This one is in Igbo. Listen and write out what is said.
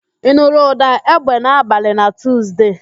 Ị nụrụ ụ̀dà égbè n'abalị na Tuuzde